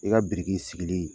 I ka biriki sigili